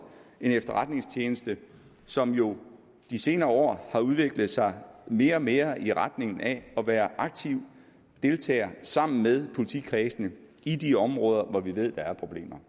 en efterretningstjeneste som jo de senere år har udviklet sig mere og mere i retning af at være aktiv deltager sammen med politikredsene i de områder hvor vi ved at der er problemer